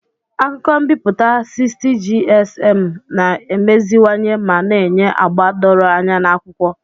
Akụkọ m'biputa 60gsm na-emeziwanye ma na-enye agba doro anya na akwụkwọ.